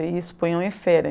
E isso punham em feira.